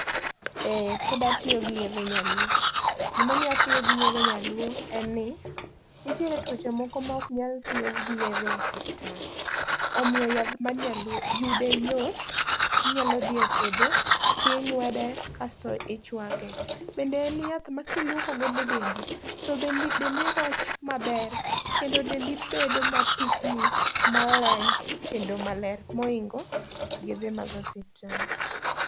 Ee pod atiyo gi yedhe nyaluo. Gimomiyo atiyo gi yedhe nyaluo en ni ntie tuoche moko mok nyal thiedh gi yedhe osiptal. omiyo yath mag nyaluo yude yot inya dhi e puodho ting'wede kasto ichwake. Bende en yath ma kiluoko godo dendi to dendi roch maber kendo dendi bedo mapichni, maleny kendo maler moingo yedhe mag osiptal.